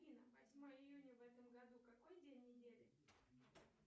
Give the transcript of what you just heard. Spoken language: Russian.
афина восьмое июня в этом году какой день недели